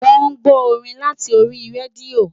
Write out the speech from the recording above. Wọ́n ń gbọ́ orin láti orí rédíò